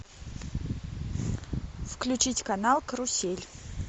включить канал карусель